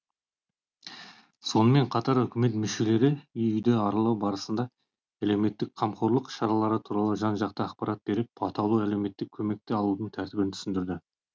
сонымен қатар үкімет мүшелері үй үйді аралау барысында әлеуметтік қамқорлық шаралары туралы жан жақты ақпарат беріп атаулы әлеуметтік көмекті алудың тәртібін түсіндірді